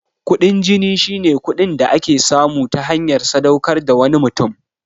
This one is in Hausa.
Kuɗin jini shine kuɗin da ake samu ta hanyar sadaukar da wani mutum.